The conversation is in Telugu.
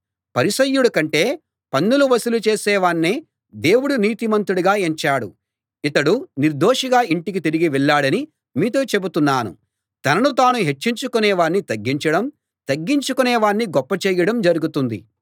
పరిసయ్యుడి కంటే పన్నులు వసూలు చేసే వాణ్ణే దేవుడు నీతిమంతుడిగా ఎంచాడు ఇతడు నిర్దోషిగా ఇంటికి తిరిగి వెళ్ళాడని మీతో చెబుతున్నాను తనను తాను హెచ్చించుకొనే వాణ్ణి తగ్గించడం తగ్గించుకొనే వాణ్ణి గొప్పచేయడం జరుగుతుంది